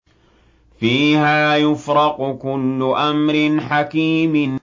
فِيهَا يُفْرَقُ كُلُّ أَمْرٍ حَكِيمٍ